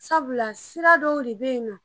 Sabula sira dɔw de be yen nɔ